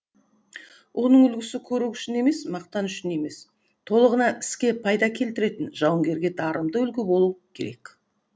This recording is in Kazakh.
оның үлгісі көрік үшін емес мақтан үшін емес толығынан іске пайда келтіретін жауынгерге дарымды үлгі болу керек